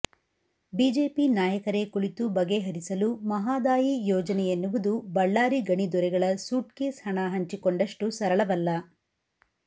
BJP ನಾಯಕರೇ ಕುಳಿತು ಬಗೆ ಹರಿಸಲು ಮಹಾದಾಯಿ ಯೋಜನೆಯೆನ್ನುವುದು ಬಳ್ಳಾರಿ ಗಣಿದೊರೆಗಳ ಸೂಟ್ಕೇಸ್ ಹಣ ಹಂಚಿಕೊಂಡಷ್ಟು ಸರಳವಲ್ಲ